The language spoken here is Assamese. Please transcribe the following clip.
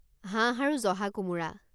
হাঁহ আৰু জহা কোমোৰা